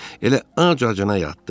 Elə ac-acına yatdı.